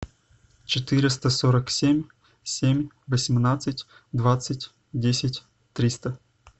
четыреста сорок семь семь восемнадцать двадцать десять триста